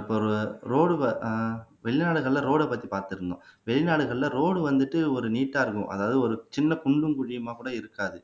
இப்ப ஒரு ரோடு ஆஹ் வெளிநாடுகள்ல ரோட பத்தி பாத்துருந்தோம் வெளிநாடுகள்ல ரோடு வந்துட்டு ஒரு நீட்டா இருக்கும் அதாவது ஒரு சின்ன குண்டும் குழியுமா கூட இருக்காது